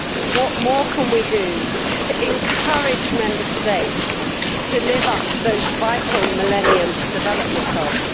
What more can we do to encourage Member States to live up to those vital millennium development goals?